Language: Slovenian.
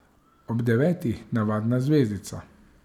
Ob devetih navadna zvezdica.